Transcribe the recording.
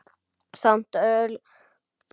Samt örlar ekki á rökkri.